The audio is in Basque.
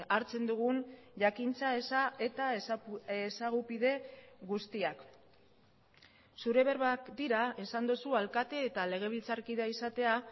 hartzen dugun jakintza eza eta ezagupide guztiak zure berbak dira esan duzu alkate eta legebiltzarkidea izatea